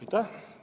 Aitäh!